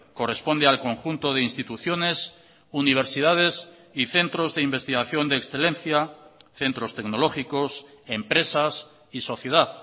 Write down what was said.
corresponde al conjunto de instituciones universidades y centros de investigación de excelencia centros tecnológicos empresas y sociedad